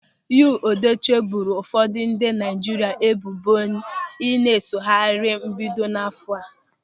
Yọlụ Edochie boro ụfọdụ ndị Naịjirịa ebubo ịna-esogharị na mbido áfọ̀ a.